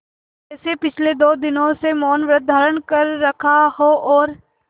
जैसे पिछले दो दिनों से मौनव्रत धारण कर रखा हो और